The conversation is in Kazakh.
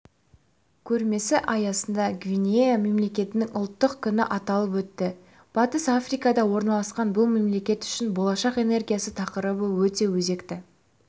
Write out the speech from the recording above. көрмесі аясында гвинея мемлекетінің ұлттық күні аталып өтті батыс африкада орналасқан бұл мемлекет үшін болашақ энергиясы тақырыбы өте өзекті